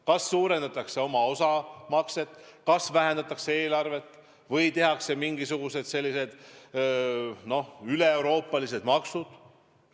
Kas suurendatakse oma osamakset euroliidus, kas vähendatakse eelarvet või tehakse mingisugused üleeuroopalised maksud?